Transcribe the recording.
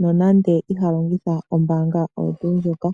nonande iha longitha ombaanga oyo tuu ndjoka .